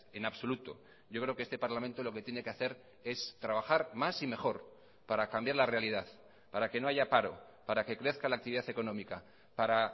en absoluto yo creo que este parlamento lo que tiene que hacer es trabajar más y mejor para cambiar la realidad para que no haya paro para que crezca la actividad económica para